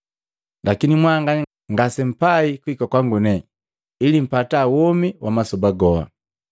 Lakini mwanganya ngasempai kuhika kwangu nepani ili mpata womi wa masoba goha.